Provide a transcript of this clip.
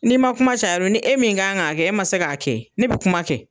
N'i ma kuma caya a ni e min kan k'a kɛ e ma se k'a kɛ, ne bi kuma kɛ.